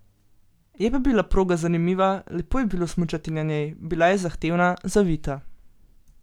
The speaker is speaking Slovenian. Je pa bila proga zanimiva, lepo je bilo smučati na njej, bila je zahtevna, zavita.